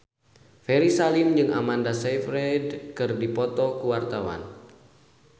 Ferry Salim jeung Amanda Sayfried keur dipoto ku wartawan